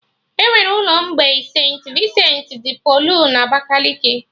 Enwere ụlọ mgbei St.Vincent dị Pọlụ na Abakaliki